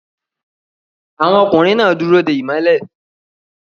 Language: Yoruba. Àwọn ọkùnrin náà dúró de ìmọ́lẹ̀